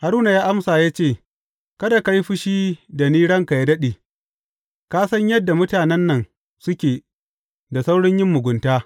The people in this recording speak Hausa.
Haruna ya amsa ya ce, Kada ka yi fushi da ni ranka yă daɗe, ka san yadda mutanen nan suke da saurin yin mugunta.